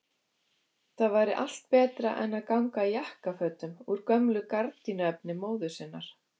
Það væri allt betra en að ganga í jakkafötum úr gömlu gardínuefni móður sinnar!